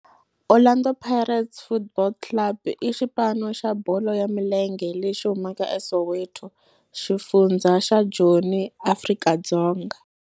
Orlando Pirates Football Club i xipano xa bolo ya milenge lexi humaka eSoweto, xifundzha xa Joni, Afrika-Dzonga.